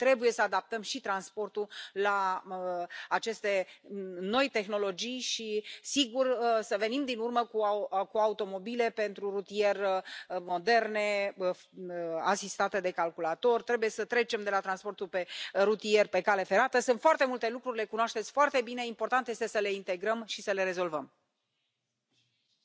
This will allow us to accelerate technological innovation. Of course, our Connecting Europe Facility will also continue to support the deployment of new, modern infrastructure equipped with intelligent transport systems, and for the use of alternative sources of energy. We have proposed a budget of EUR 30.6